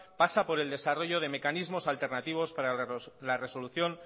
pasa por el desarrollo de mecanismos alternativos para la resolución